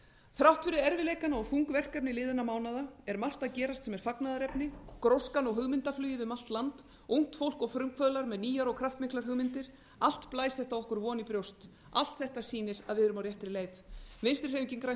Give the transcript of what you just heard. þrátt fyrir erfiðleikana og þung verkefni liðinna mánaða er margt að gerast sem er fagnaðarefni gróskan og hugmyndaflugið um allt land ungt fólk og frumkvöðlar með nýjar og kraftmiklar hugmyndir allt blæs þetta okkur von í brjóst allt þetta sýnir að við verum á réttri leið vinstri hreyfingin grænt